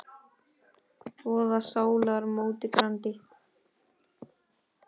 voða sálar móti grandi.